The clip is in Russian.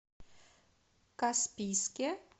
каспийске